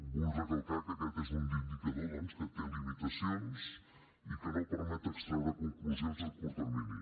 vull recalcar que aquest és un indicador doncs que té limitacions i que no permet extraure conclusions a curt termini